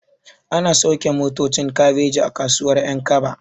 Ana sauke motocin kabeji a kasuwar ƴankaba